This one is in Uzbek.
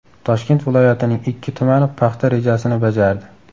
Toshkent viloyatining ikki tumani paxta rejasini bajardi .